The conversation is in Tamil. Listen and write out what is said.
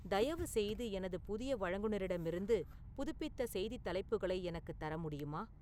தயவுசெய்து எனது புதிய வழங்குநரிடமிருந்து புதுப்பித்த செய்தித் தலைப்புகளை எனக்குத் தர முடியுமா